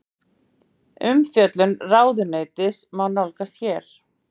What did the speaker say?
Umfjöllun ráðuneytisins má nálgast hér